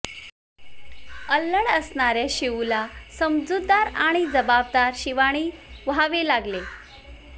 अल्लड असणाऱ्या शिवूला समजूतदार आणि जबाबदार शिवानी व्हावे लागले